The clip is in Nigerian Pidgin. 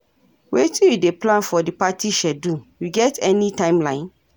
Wetin you dey plan for di party schedule, you get any timeline?